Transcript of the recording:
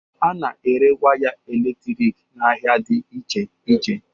A na-ere waya elektriki n'ahịa dị iche iche.